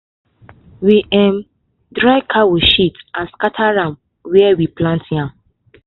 we um dry cow shit and scatter am for where we plant yam.